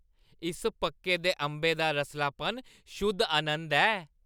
इस पक्के दे अंबै दा रसलापन शुद्ध आनंद ऐ।